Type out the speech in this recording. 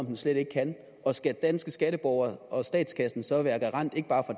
den slet ikke kan og skal danske skatteborgere og statskassen så være garant ikke bare